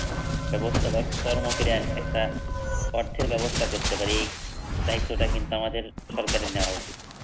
ব্যবস্থা বা কর্ম করে একটা অর্থের ব্যবস্থা করতে পারি, এ দায়িত্ব কিন্তু আমাদের সরকারের নেওয়া উচিৎ।